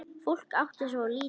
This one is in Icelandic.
Fólk átti svo lítið.